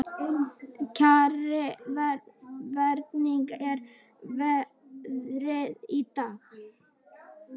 Kjarri, hvernig er veðrið í dag?